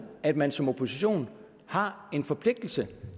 at man som opposition har en forpligtelse